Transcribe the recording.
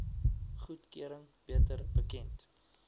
goedkeuring beter bekend